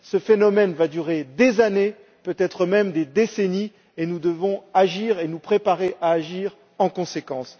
Ce phénomène va durer des années, peut être même des décennies, et nous devons agir et nous préparer à agir en conséquence.